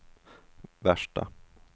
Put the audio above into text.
värsta